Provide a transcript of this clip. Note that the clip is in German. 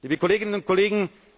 Liebe Kolleginnen und Kollegen!